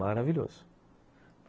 Maravilhoso.